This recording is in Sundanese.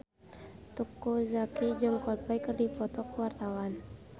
Teuku Zacky jeung Coldplay keur dipoto ku wartawan